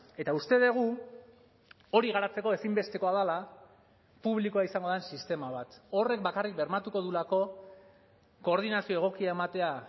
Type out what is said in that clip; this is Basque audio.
eta uste dugu hori garatzeko ezinbestekoa dela publikoa izango den sistema bat horrek bakarrik bermatuko duelako koordinazio egokia ematea